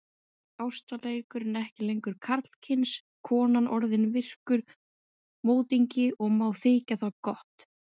Ástarleikurinn ekki lengur karlkyns, konan orðin virkur mótingi og má þykja það gott.